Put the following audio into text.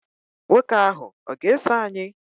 Nwoke ahụ ọ̀ ga-eso anyị?